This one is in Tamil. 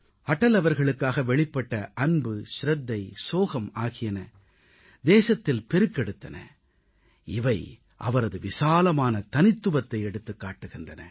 அடல் அவர்களுக்காக வெளிப்பட்ட அன்பு சிரத்தை சோகம் ஆகியன தேசத்தில் பெருக்கெடுத்தன இவை அவரது விசாலமான தனித்துவத்தை எடுத்துக் காட்டுகின்றன